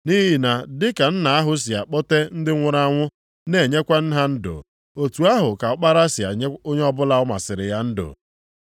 Nʼihi na dị ka nna ahụ si akpọte ndị nwụrụ anwụ na-enyekwa ha ndụ, otu ahụ ka Ọkpara ya si enye onye ọbụla ọ masịrị ya ndụ.